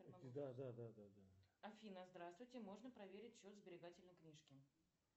афина здравствуйте можно проверить счет сберегательной книжки